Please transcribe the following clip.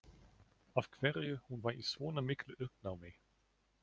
Af hverju hún var í svona miklu uppnámi.